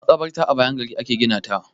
Maƙabarta a bayan gari a ke gina ta.